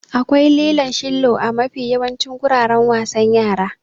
Akwai lilon shillo a mafi yawancin guraren wasan yara.